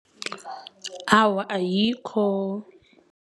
Awa, ayikho.